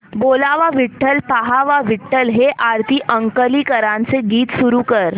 बोलावा विठ्ठल पहावा विठ्ठल हे आरती अंकलीकरांचे गीत सुरू कर